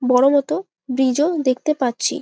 বড় মত ব্রিজ ও দেখতে পাচ্ছি।